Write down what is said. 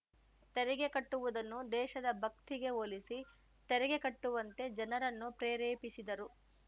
ತೆರಿಗೆ ಕಟ್ಟುವುದನ್ನು ದೇಶದ ಭಕ್ತಿಗೆ ಹೋಲಿಸಿ ತೆರಿಗೆ ಕಟ್ಟುವಂತೆ ಜನರನ್ನು ಪ್ರೆರೇಪಿಸಿದರು